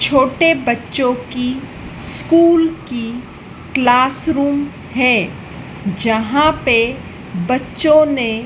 छोटे बच्चों की स्कूल की क्लासरूम है जहाँ पे बच्चों ने --